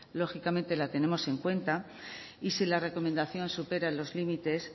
lógicamente la tenemos en cuenta y si la recomendación supera los límites